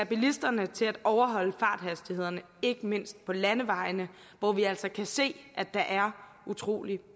bilisterne til at overholde farthastighederne ikke mindst på landevejene hvor vi altså kan se at der er utrolig